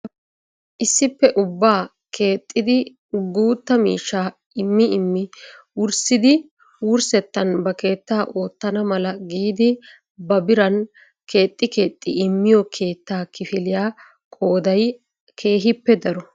Issippe ubbaa keexxidi guutta miishshaa immi immi wurssidi wurssettan ba keetta oottana mala giidi ba biran keexi keexi immiyoo keettaa kifiliyaa qooday keehippe daro.